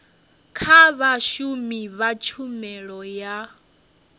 kha vhashumi vha tshumelo ya